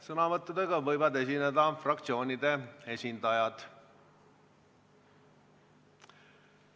Sõnavõttudega võivad esineda fraktsioonide esindajad.